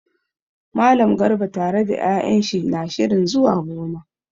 Mallam Garba tare da 'ya'yan shi na shirin zuwa gona.